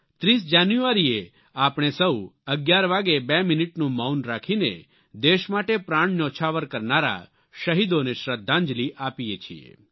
30 જાન્યુઆરીએ આપણે સૌ 11 વાગ્યે 2 મિનિટનું મૌન રાખીને દેશ માટે પ્રાણ ન્યોછાવર કરનારા શહીદોને શ્રદ્ધાંજલિ આપીએ છીએ